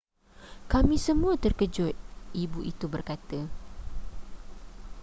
kami semua terkejut ibu itu berkata